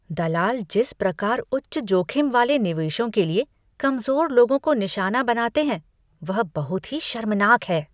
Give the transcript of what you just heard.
दलाल जिस प्रकार उच्च जोखिम वाले निवेशों के लिए कमजोर लोगों को निशाना बनाते हैं वह बहुत ही शर्मनाक है ।